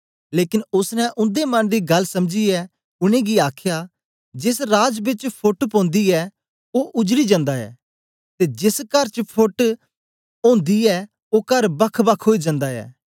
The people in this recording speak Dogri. लेकन ओसने उन्दे मन दी गल्ल समझीयै उनेंगी आखया जेस राज बेच फोट ओंदी ऐ ओ उजडी जन्दा ऐ ते जेस कर च फोट ओंदी ऐ ओ कर बखबख ओई जन्दा ऐ